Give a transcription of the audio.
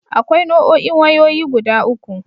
Akwai Nau'o'in wayoyi guda uku.